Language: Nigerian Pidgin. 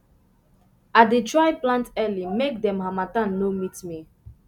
i dey try plant early make dem harmattan no meet me